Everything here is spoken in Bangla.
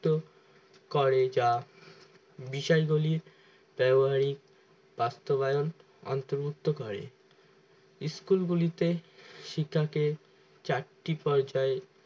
করে যা বিষয়গুলির ব্যবহারিক সাস্থবায়ন অন্তর্ভুক্ত করে school গুলিতে শিক্ষাকে চারটি পর্যায়